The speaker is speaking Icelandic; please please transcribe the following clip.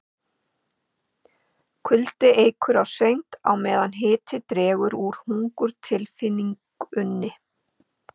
Kuldi eykur á svengd á meðan hiti dregur úr hungurtilfinningunni.